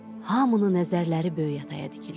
Hamının nəzərləri Böyük ataya dikildi.